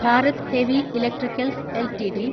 Bharat heavy electricals LTD